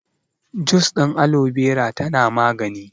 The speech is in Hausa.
Jus ɗin Alobera tana magani